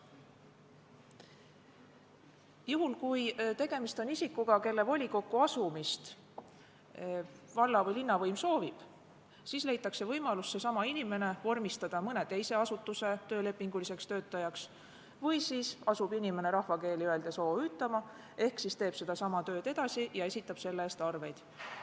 Juhul kui tegemist on isikuga, kelle volikokku asumist valla- või linnavõim soovib, siis leitakse võimalus see inimene vormistada mõne teise asutuse töölepinguliseks töötajaks või siis asub inimene rahvakeeli öeldes OÜ-tama ehk teeb sedasama tööd edasi ja esitab selle eest arveid.